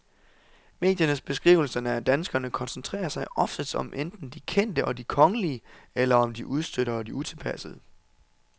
Mediernes beskrivelser af danskerne koncentrerer sig oftest om enten de kendte og de kongelige eller om de udstødte og de utilpassede.